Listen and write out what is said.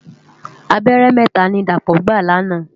Àbèrè mètá ni Dapo gbá làná